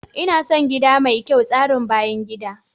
Ina son gida mai kyau tsarin bayan gida.